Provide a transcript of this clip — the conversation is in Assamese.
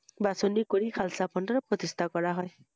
বাছনি কৰি চালচা মল্দিৰত প্ৰতিস্ঠা কৰা হয় ৷